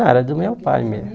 Era do meu pai mesmo.